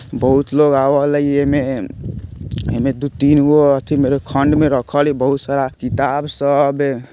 बहुत लोग आवल है येमें येमे दु-तीन गो आथि मेरे खंड में रखल हय बहुत सारा किताब सब।